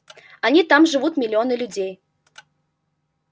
они там живут миллионы людей